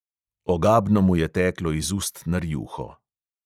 Ogabno mu je teklo iz ust na rjuho.